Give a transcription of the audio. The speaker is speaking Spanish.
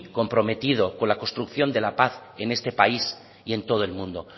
comprometido con la construcción de la paz en este país y en todo el mundo